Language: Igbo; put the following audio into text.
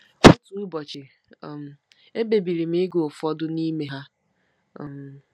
Otu ụbọchị, um ekpebiri m ịgụ ụfọdụ n'ime ha. um